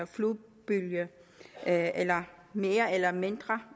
flodbølge af mere eller mindre